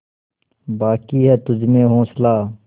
बाक़ी है तुझमें हौसला